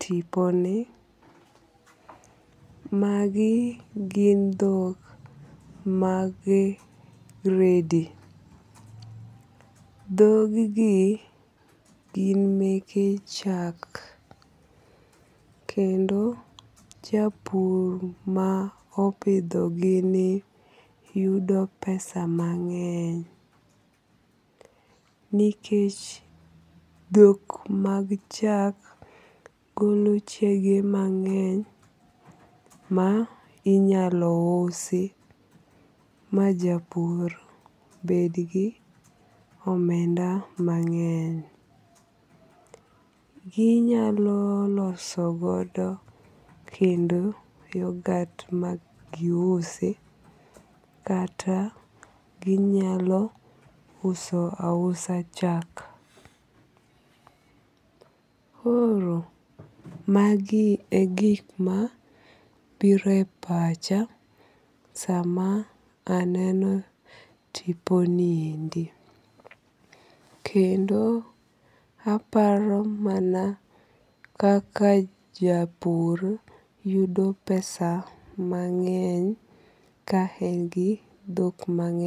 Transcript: tiponi. Magi gin dhok mag gredi. Dhog gi gin meke chak kendo japur ma opidho gi ni yudo pesa mang'eny. Nikech dhok mag chak golo chege mang'eny ma inyalo usi ma japur bed gi omenda mang'eny. Ginyalo loso godo kendo yoghurt ma giusi kata ginyalo uso asa chak. Koro magi e gik mabiro e pacha sama aneno tiponiendi. Kendo aparo mana kaka japur yudo pesa mang'eny ka en gi dhok mang'eny.